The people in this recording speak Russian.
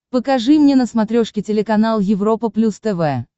покажи мне на смотрешке телеканал европа плюс тв